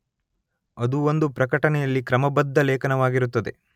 ಅದು ಒಂದು ಪ್ರಕಟಣೆಯಲ್ಲಿ ಕ್ರಮಬದ್ಧ ಲೇಖನವಾಗಿರುತ್ತದೆ.